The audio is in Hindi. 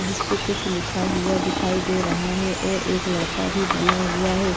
जिस पर कुछ लिखा हुआ दिखाई दे रहा है और एक लड़का भी बना हुआ है।